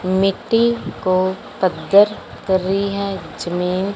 मिट्टी को पद्दर कर रही है जमीन--